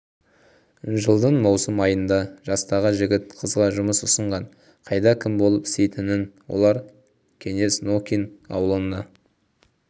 жылдың маусым айында жастағы жігіт қызға жұмыс ұсынған қайда кім болып істейтінін олар кеңес нокин ауылына